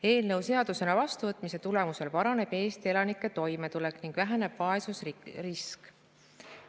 Eelnõu seadusena vastuvõtmise tulemusel paraneb Eesti elanike toimetulek ning väheneb vaesusrisk.